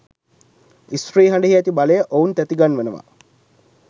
ස්ත්‍රී හඬෙහි ඇති බලය ඔවුන් තැති ගන්වනවා.